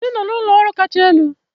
Anyị nọ n'ụlọ ọrụ kacha elu.